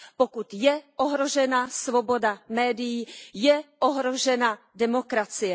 Pokud je ohrožena svoboda médií, je ohrožena demokracie.